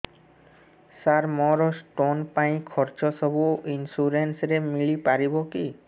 ସାର ମୋର ସ୍ଟୋନ ପାଇଁ ଖର୍ଚ୍ଚ ସବୁ ଇନ୍ସୁରେନ୍ସ ରେ ମିଳି ପାରିବ କି